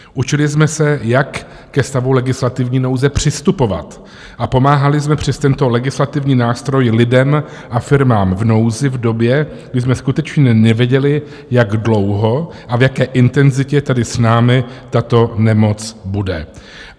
Učili jsme se, jak ke stavu legislativní nouze přistupovat, a pomáhali jsme přes tento legislativní nástroj lidem a firmám v nouzi v době, kdy jsme skutečně nevěděli, jak dlouho a v jaké intenzitě tedy s námi tato nemoc bude.